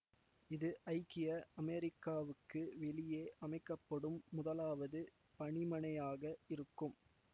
இது ஐக்கிய அமெரிக்காவுக்கு வெளியே அமைக்க படும் முதலாவது பணிமனையாக இருக்கும்